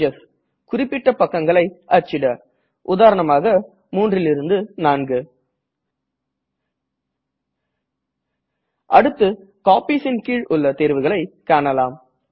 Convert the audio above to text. pages குறிப்பிட்ட பக்கங்களை அச்சிட உதாரணமாக 3 4 அடுத்து Copiesன் கீழுள்ள தேர்வுகளை காணலாம்